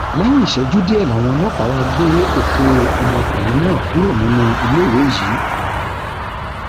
lẹyìn ìṣẹjú díẹ làwọn ọlọpàá wàá gbé òkú ọmọkùnrin náà kúrò nínú iléèwé yìí